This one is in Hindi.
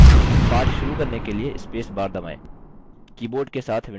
पाठ शुरू करने के लिए space bar दबाएँ